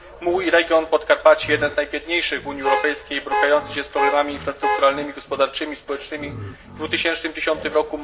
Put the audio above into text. Mój region, Podkarpacie jeden z najbiedniejszych w Unii Europejskiej, borykający się z problemami infrastrukturalnymi, gospodarczymi, społecznymi w 2010r.